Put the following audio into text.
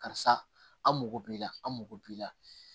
Karisa an mago b'i la an mago b'i la